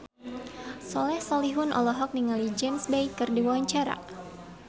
Soleh Solihun olohok ningali James Bay keur diwawancara